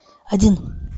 один